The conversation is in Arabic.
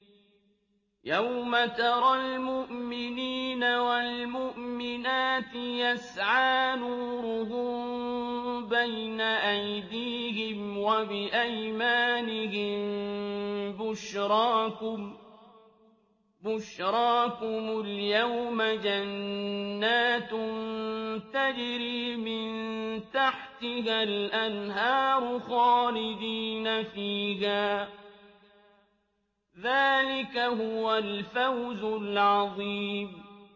يَوْمَ تَرَى الْمُؤْمِنِينَ وَالْمُؤْمِنَاتِ يَسْعَىٰ نُورُهُم بَيْنَ أَيْدِيهِمْ وَبِأَيْمَانِهِم بُشْرَاكُمُ الْيَوْمَ جَنَّاتٌ تَجْرِي مِن تَحْتِهَا الْأَنْهَارُ خَالِدِينَ فِيهَا ۚ ذَٰلِكَ هُوَ الْفَوْزُ الْعَظِيمُ